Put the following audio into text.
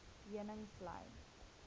heuningvlei